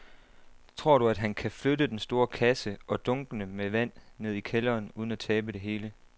Tror du, at han kan flytte den store kasse og dunkene med vand ned i kælderen uden at tabe det hele?